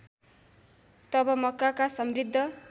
तब मक्काका समृद्ध